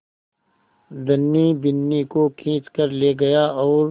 धनी बिन्नी को खींच कर ले गया और